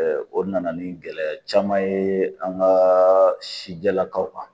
o nana ni gɛlɛya caman ye an ka sijɛlakaw kan